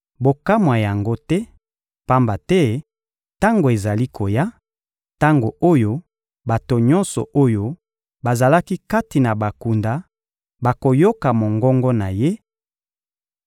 Bokamwa yango te, pamba te tango ezali koya, tango oyo bato nyonso oyo bazali kati na bakunda bakoyoka mongongo na Ye